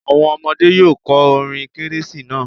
Àwọn ọmọdé́ yóò kọ orin kérésì náà.